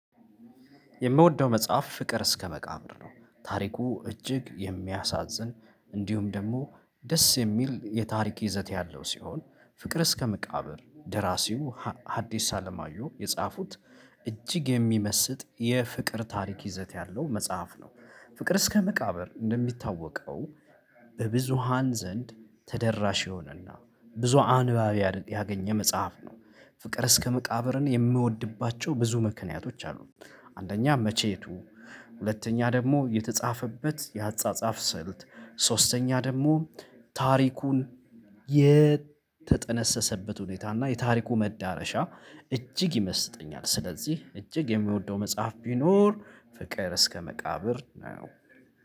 የምወደው መጽሐፍ ፍቅር እስከ መቃብር ነው ታሪኩ እጅግ የሚያሳዝን እንዲሁም ደግሞ ደስ የሚል የታሪክ ይዘት ያለው ሲሆን፤ ፍቅር እስከ መቃብር ደራሲው ሀዲስ አለማዩ የጻፉት እጅግ የሚመስጥ የፍቅር ታሪክ ይዘት ያለው መጽሐፍ ነው፤ ፍቅር እስከ መቃብር እንደሚታወቀው በብዙሃን ዘንድ ተደራሽ የሆነና ብዙ አንባቢ አይደል ያገኘ መጽሐፍ ነው፤ ፍቅር እስከ መቃብርን የምወድባቸው ብዙ ምክንያቶች አሉት አንደኛ መቼቱ፣ ሁለተኛ ደግሞ የተጻፈበት የአጻጻፍ ስልት፣ ሶስተኛ ደግሞ ታሪኩን የተጠነሰሰበት ሁኔታ እና የታሪኩ መዳረሻ እጅግ ይመስጠኛል፤ ስለዚህ እጅግ የሚወደው መጽሐፍ ቢኖር ፍቅር እስከ መቃብር ነው።